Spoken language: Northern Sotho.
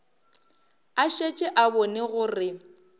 a šetše a bone gore